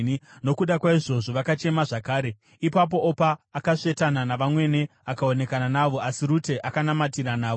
Nokuda kwaizvozvo, vakachema zvakare. Ipapo Opa akasvetana navamwene akaonekana navo, asi Rute akanamatirana navo.